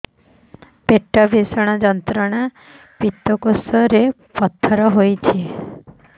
ପେଟ ଭୀଷଣ ଯନ୍ତ୍ରଣା ପିତକୋଷ ରେ ପଥର ହେଇଚି